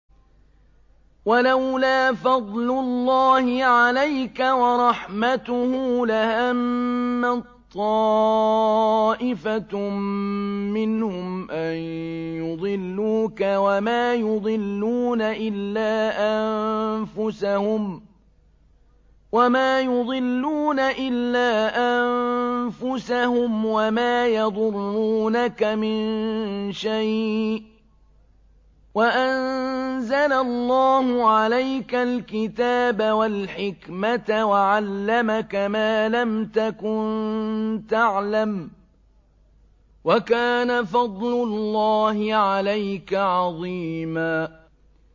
وَلَوْلَا فَضْلُ اللَّهِ عَلَيْكَ وَرَحْمَتُهُ لَهَمَّت طَّائِفَةٌ مِّنْهُمْ أَن يُضِلُّوكَ وَمَا يُضِلُّونَ إِلَّا أَنفُسَهُمْ ۖ وَمَا يَضُرُّونَكَ مِن شَيْءٍ ۚ وَأَنزَلَ اللَّهُ عَلَيْكَ الْكِتَابَ وَالْحِكْمَةَ وَعَلَّمَكَ مَا لَمْ تَكُن تَعْلَمُ ۚ وَكَانَ فَضْلُ اللَّهِ عَلَيْكَ عَظِيمًا